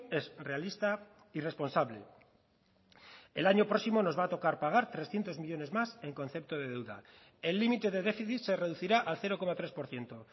es realista y responsable el año próximo nos va a tocar pagar trescientos millónes más en concepto de deuda el límite de déficit se reducirá al cero coma tres por ciento